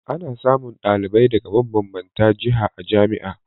Ana samun ɗalibi daga mabanbanta jiha a jami'a